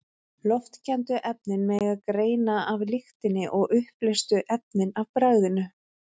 Loftkenndu efnin megi greina af lyktinni og uppleystu efnin af bragðinu.